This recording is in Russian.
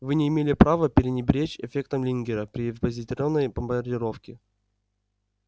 вы не имели права пренебречь эффектом лингера при позитронной бомбардировке